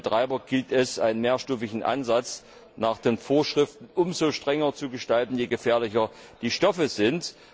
Für die Betreiber gilt es, einen mehrstufigen Ansatz nach den Vorschriften umso strenger zu gestalten, je gefährlicher die Stoffe sind.